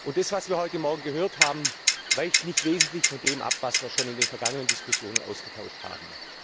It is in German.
Das, was wir heute Morgen gehört haben, weicht nicht wesentlich von dem ab, was wir schon in den vergangenen Diskussionen ausgetauscht haben.